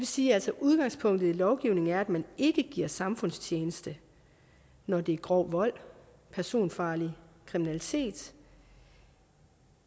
sige at udgangspunktet i lovgivningen er at man ikke giver samfundstjeneste når det er grov vold personfarlig kriminalitet